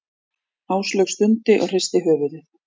Áslaug stundi og hristi höfuðið.